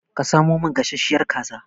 Samo min gasashiyar kaza!